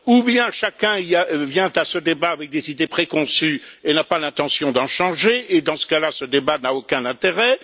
Soit chacun vient à ce débat avec des idées préconçues, et n'a pas l'intention d'en changer, et dans ce cas là, ce débat n'a aucun intérêt.